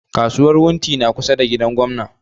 Kasuwan wunti na kusa da gidan gwamna